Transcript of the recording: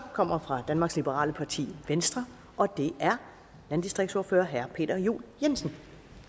kommer fra danmarks liberale parti venstre og det er landdistriktsordfører herre peter juel jensen